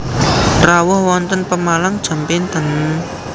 Rawuh wonten Pemalang jam pinten?